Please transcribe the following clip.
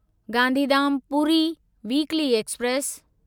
Gandhidham Puri weekly express